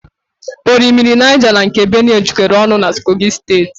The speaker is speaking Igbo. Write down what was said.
Orimmiri Niger na nke Benue jekoro ọnụ na Kogi steeti